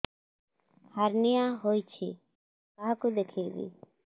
hernia ହୋଇଛି କାହାକୁ ଦେଖେଇବି